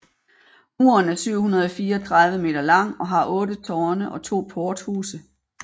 Muren er 734 m lang og har otte tårne og to porthuse